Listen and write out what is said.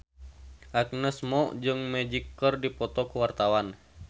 Agnes Mo jeung Magic keur dipoto ku wartawan